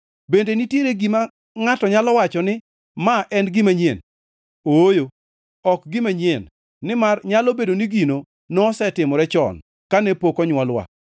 Bende nitiere gima ngʼato nyalo wacho ni ma en gima nyien? Ooyo ok gima nyien, nimar nyalo bedo ni gino nosetimore chon kane pok onywolwa.